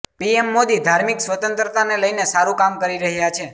PM Modi ધાર્મિક સ્વતંત્રતાને લઇને સારું કામ કરી રહ્યા છે